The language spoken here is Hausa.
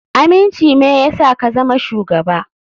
Aminci me yasa ka zama shugaba.